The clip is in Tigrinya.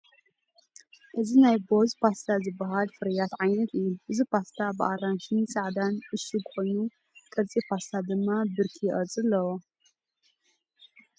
እዚ ናይ BOOEZ Pasta ዝበሃል ፍርያት ዓይነት እዩ። እቲ ፓስታ ብኣራንሺን ጻዕዳን ዕሹግ ኮይኑ፡ ቅርጺ ፓስታ ድማ "ብርኪ" ቅርጺ ኣለዎ።